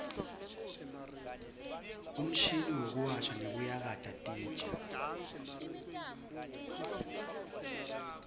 umshini wekuwasha nekuyakata titja